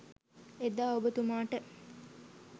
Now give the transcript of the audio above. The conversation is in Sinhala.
එදා ඔබතුමාට